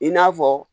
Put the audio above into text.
I n'a fɔ